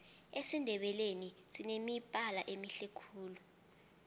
esindebeleni sinemibala emihle khulu